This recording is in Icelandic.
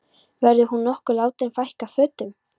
Verður hún nokkuð látin fækka fötum?